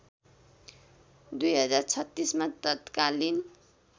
२०३६ मा तत्कालीन